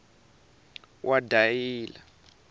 wadayila